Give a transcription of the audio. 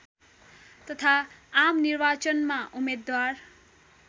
तथा आमनिर्वाचनमा उम्मेद्वार